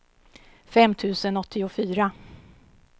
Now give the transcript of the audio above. fem tusen åttiofyra